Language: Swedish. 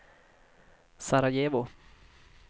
Sarajevo